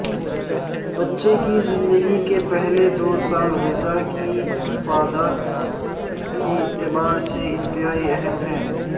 بچے کی زندگی کے پہلے دوسال غذا کی افادیت کے اعتبار سے انتہائی اہم ہیں